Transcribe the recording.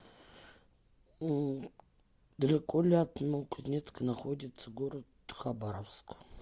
далеко ли от новокузнецка находится город хабаровск